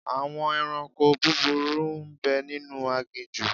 Àwọn ẹranko búburú ń bẹ nínú aginjù.